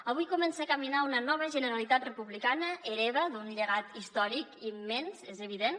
avui comença a caminar una nova generalitat republicana hereva d’un llegat històric immens és evident